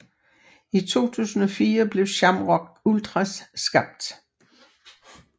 I 2004 blev Shamrock Ultras skabt